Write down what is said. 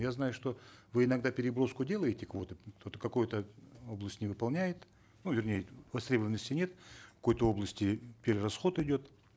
я знаю что вы иногда переброску делаете квоты вот какая то область не выполняет ну вернее востребованности нет в какой то области перерасход идет